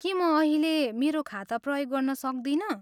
के म अहिले मेरो खाता प्रयोग गर्न सक्दिनँ?